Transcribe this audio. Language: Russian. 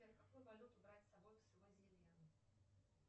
сбер какую валюту брать с собой в свазеленд